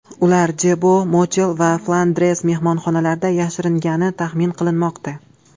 Ular Debo, Motel va Flandres mehmonxonalarida yashiringani taxmin qilinmoqda.